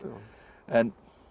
en